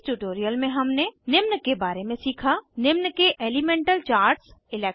इस ट्यूटोरियल में हमने निम्न के बारे में सीखा निम्न के एलीमेंटल चार्ट्स 1